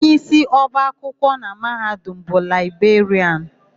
Onyeisi ọba akwụkwọ na Mahadum bụ Laịberịanụ.